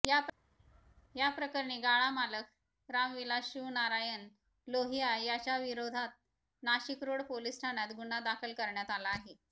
याप्रकरणी गाळा मालक रामविलास शिवणारायन लोहिया याच्या विरोधातनाशिकरोड पोलीस ठाण्यात गुन्हा दाखल करण्यात आला आहे